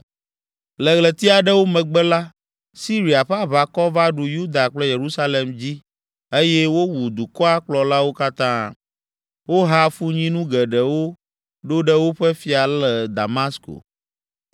Le ɣleti aɖewo megbe la, Siria ƒe aʋakɔ va ɖu Yuda kple Yerusalem dzi eye wowu dukɔa kplɔlawo katã. Woha afunyinu geɖewo ɖo ɖe woƒe fia le Damasko.